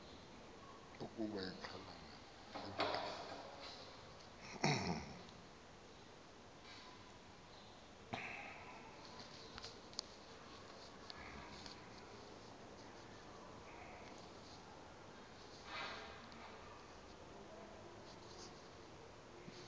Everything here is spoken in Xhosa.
ukuba ixhalanga liva